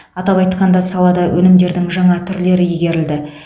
атап айтқанда салада өнімдердің жаңа түрлері игерілді